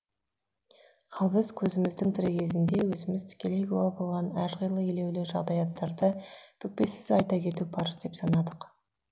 ал біз көзіміздің тірі кезінде өзіміз тікелей куә болған әрқилы елеулі жағдаяттарды бүкпесіз айта кету парыз деп санадық